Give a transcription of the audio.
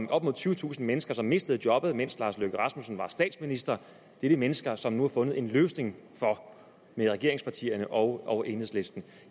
op mod tyvetusind mennesker som mistede jobbet mens herre lars løkke rasmussen var statsminister det er de mennesker som der nu er fundet en løsning for af regeringspartierne og og enhedslisten